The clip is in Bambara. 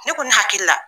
Ne ko ne hakili la